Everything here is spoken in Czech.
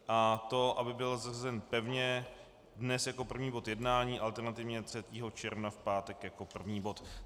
A to, aby byl zařazen pevně dnes jako první bod jednání, alternativně 3. června v pátek jako první bod.